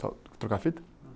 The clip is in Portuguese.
Só trocar a fita?